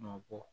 Nɔ bɔ